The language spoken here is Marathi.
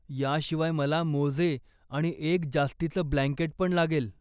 याशिवाय मला मोजे आणि एक जास्तीचं ब्लँकेट पण लागेल.